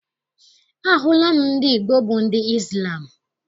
Ahụla m ndị Igbo bụ ndị Izlam.